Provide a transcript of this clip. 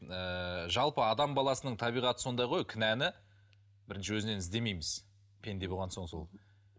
ыыы жалпы адам баласының табиғаты сондай ғой кінәні бірінші өзінен іздемейміз пенде болған соң сол